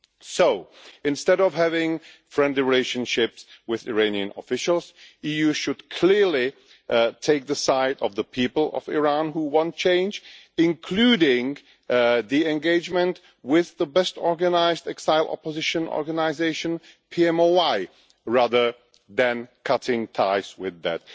So, instead of having friendly relationships with Iranian officials, the EU should clearly take the side of the people of Iran who want change, including engagement with the best organised exile opposition organisation, the PMOI, rather than cutting ties with them.